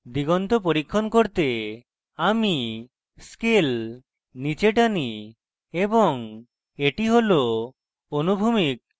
দিগন্ত পরীক্ষণ করতে আমি scale নীচে টানি এবং এটি হল অনুভূমিক